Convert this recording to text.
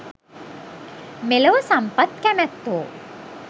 මෙලොව සම්පත් කැමැත්තෝ